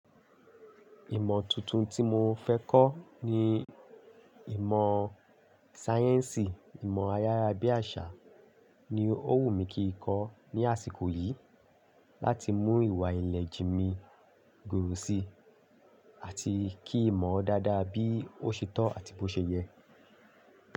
Ìmọ̀ tuntun tí mo fẹ́ kọ́ ni ìmọ̀ sáyẹ́ǹsì, ìmọ̀ ayára bí àṣà ni ó wù mí kí n kọ́ ní àsìkò yìí láti mú ìwà ìlẹ̀ jimi goru si àti kí ìmọ̀ dáadáa bí ó ṣe to àti bó ṣe yẹ.